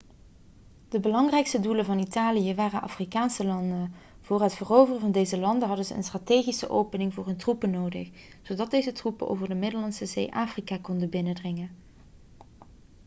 de belangrijkste doelen van italië waren afrikaanse landen voor het veroveren van deze landen hadden ze een strategische opening voor hun troepen nodig zodat deze troepen over de middellandse zee afrika konden binnendringen